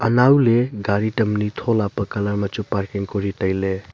anow le gari tam anyi tholapa colour ma chu parking Kori tailey.